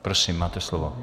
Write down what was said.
Prosím, máte slovo.